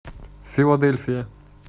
филадельфия